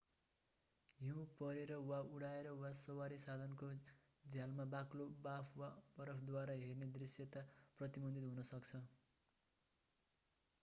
हिउ परेर वा उडाएर वा सवारी साधनको झ्यालमा बाक्लो बाफ वा बरफद्वारा हेर्ने दृष्यता प्रतिबन्धित हुन सक्छ